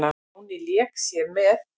Mangi lék sér með.